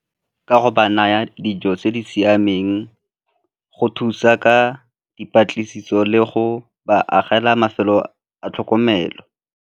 Ka go ba naya dijo tse di siameng, go thusa ka dipatlisiso le go ba agela mafelo a tlhokomelo.